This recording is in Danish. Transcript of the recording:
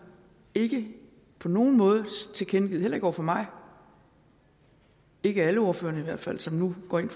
ikke på nogen måde tilkendegivet heller ikke over for mig ikke alle ordførerne i hvert fald som nu går ind